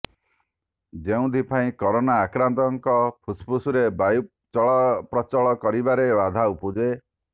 ଯେଉଁଥିପାଇଁ କୋରୋନା ଆକ୍ରାନ୍ତଙ୍କ ଫୁସଫୁସରେ ବାୟୁ ଚଳପ୍ରଚଳ କରିବାରେ ବାଧା ଉପୁଜେ